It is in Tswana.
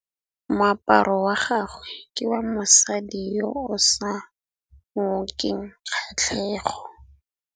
Moaparô wa gagwe ke wa mosadi yo o sa ngôkeng kgatlhegô.